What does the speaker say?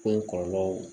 Ko kɔlɔlɔw